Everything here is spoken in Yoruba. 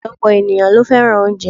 Ọ̀pọ̀lọpọ̀ ènìyàn ló fẹ́ràn oúnjẹ